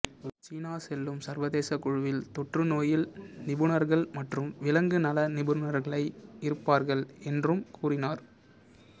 சீனா செல்லும் சர்வதேச குழுவில் தொற்றுநோயியல் நிபுணர்கள் மற்றும் விலங்கு நல நிபுணர்களை இருப்பார்கள் என்றும் கூறினார்